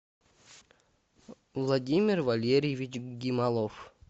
владимир валерьевич гималов